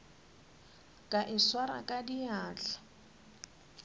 ka e swara ka diatla